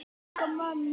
og Hjá Márum.